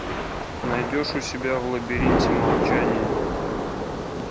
найдешь у себя в лабиринте молчания